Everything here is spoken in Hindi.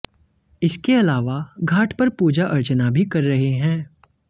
इसके अलावा घाट पर पूजा अर्चना भी कर रहे हैं